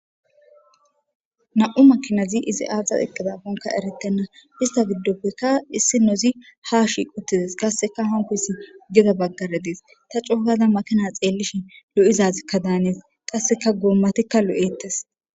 Nam7u makinazi izi aaza eqqadakonka eretenna ista giddoppekka issinnozi ha shiquttides qasseka hankkoyssi geda baggara des. Ta coo gada makina xeellishin lo7izazikka daanes. Qasseka goommatikka lo7ettes.